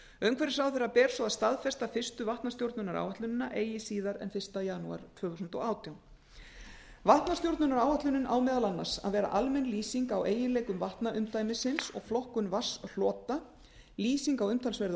umhverfisráðherra ber svo að staðfesta fyrstu vatnastjórnunaráætlunina eigi síðar en fyrsta janúar tvö þúsund og átján vatnastjórnunaráætlunin á meðal annars að vera almenn lýsing á eiginleikum vatnaumdæmisins og flokkun vatnshlota lýsing á umtalsverðu